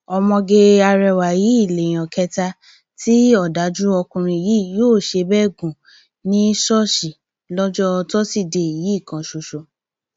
ọmọge arẹwà yìí lèèyàn kẹta tí ọdájú ọkùnrin yìí yóò ṣe bẹẹ gùn ní ṣíṣọọṣì lọjọ tọsídẹẹ yìí kan ṣoṣo